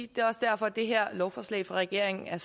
det er også derfor at det her lovforslag fra regeringen er